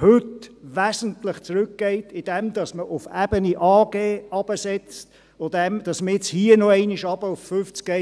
heute wesentlich zurückgeht, indem man auf Ebene AG hinuntersetzt, wenn man hier noch einmal auf 50 Prozent runtergeht.